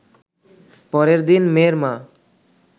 পরের দিন মেয়ের মা